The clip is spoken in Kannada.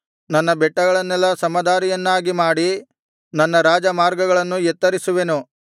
ನನ್ನ ಬೆಟ್ಟಗಳನ್ನೆಲ್ಲಾ ಸಮದಾರಿಯನ್ನಾಗಿ ಮಾಡಿ ನನ್ನ ರಾಜಮಾರ್ಗಗಳನ್ನು ಎತ್ತರಿಸುವೆನು